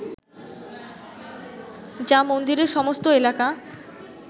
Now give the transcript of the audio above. যা মন্দিরের সমস্ত এলাকা